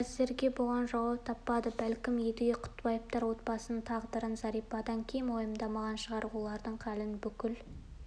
әзір бұған жауап таппады бәлкім едіге құттыбаевтар отбасының тағдырын зәрипадан кем уайымдамаған шығар олардың халін бүкіл